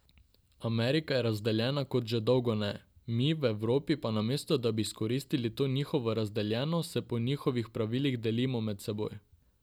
Amerika je razdeljena kot ze dolgo ne, mi v Evropi pa namesto, da bi izkoristilo to njihovo razdeljenost se po njihovih pravilih delimo med seboj.